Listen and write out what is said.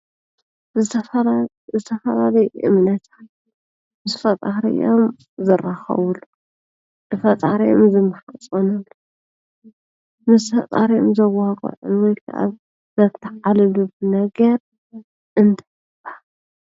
ዝተፈላለዩ ዝተፈላለየ እምነት ምሰ ፈጣሪኦም ዝራከብሉ ንፈጣሪኦም ዝምሕፀኑ ምስ ፈጣሪኦም ዘዋግዕሉ ወይ ከዓ ዘተዓልሉን ነገር እንታይ ይበሃል?